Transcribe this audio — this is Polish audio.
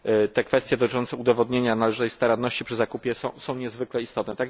Te kwestie dotyczące udowodnienia należytej staranności przy zakupie są niezwykle istotne.